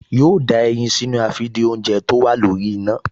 Yóò da ẹyin sínú àfìdínoúnjẹ tó wà lórí iná